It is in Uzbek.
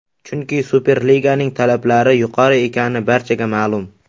Chunki Superliganing talablari yuqori ekani barchaga ma’lum.